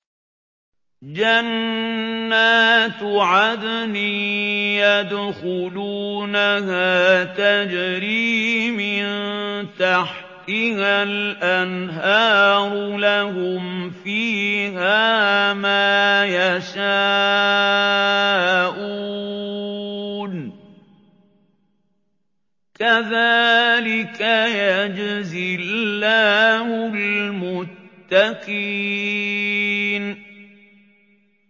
جَنَّاتُ عَدْنٍ يَدْخُلُونَهَا تَجْرِي مِن تَحْتِهَا الْأَنْهَارُ ۖ لَهُمْ فِيهَا مَا يَشَاءُونَ ۚ كَذَٰلِكَ يَجْزِي اللَّهُ الْمُتَّقِينَ